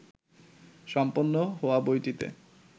সম্পন্ন হওয়া বইটিতে